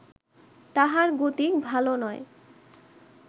তাহার গতিক ভালো নয়